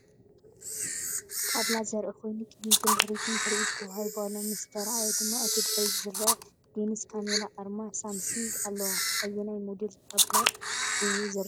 ጣብላ ዘርኢ ኮይኑ፡ ቅድሚትን ድሕሪትን ትርኢት ተዋሂቡ ኣሎ። ምስ ተራእየ ድማ እቲ ድሕሪት ዝርአ ሌንስ ካሜራን ኣርማ ሳምሰንግን ኣለዎ። ኣየናይ ሞዴል ጣብላ እዩ ዝርአ?